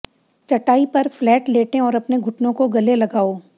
चटाई पर फ्लैट लेटें और अपने घुटनों को गले लगाओ